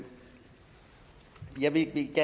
enkelt